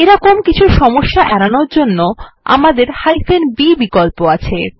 এই মতন কিছু সমস্যা এড়ানোর জন্য আমদের b বিকল্প আছে